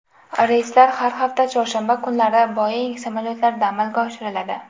Reyslar har hafta chorshanba kunlari Boeing samolyotlarida amalga oshiriladi.